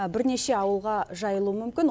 бірнеше ауылға жайылуы мүмкін